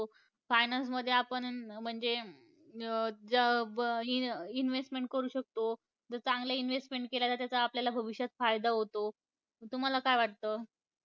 Finance मध्ये आपण म्हणजे, अं जंबंयन्~ investment करू शकतो, जर चांगली investment केली तर त्याचा आपल्याला भविष्यात फायदा होतो. तुम्हाला काय वाटतं?